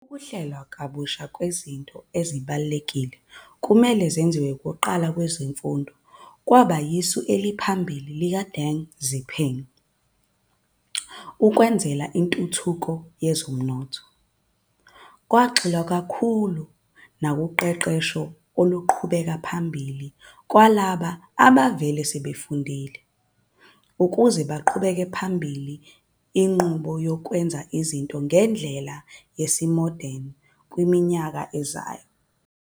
Ukuhlelwa kwabusha kwezinto ezibalulekile nokumele zenziwe kuqala kwezemfundo kwaba yisu eliphambili likaDeng Xiaoping ukwenzela intuthuko yezomnotho. Kwagxilwa kakhulu nakuqeqesho oluqhubekela phambili lwalabo ababevele sebefundile, ukuze baqhubele phambili inqubo yokwenza izinto ngendlela yesimodeni kwiminyaka ezayo.